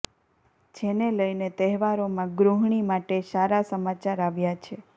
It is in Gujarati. જેને લઇને તહેવારોમાં ગૃહણી માટે સારા સમાચાર આવ્યા છે